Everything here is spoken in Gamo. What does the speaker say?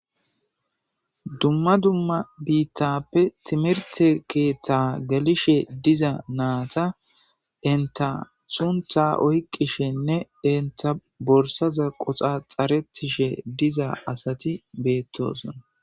Dumma dumma biittappe timirte keetta galishe diza naata inta suntha oyqishenne inta borsaza qoxa xaretishe diza asati beettoson.